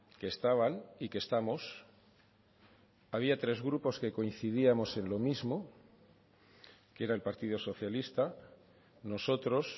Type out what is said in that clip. que estaban y que estamos había tres grupos que coincidíamos en lo mismo que era el partido socialista nosotros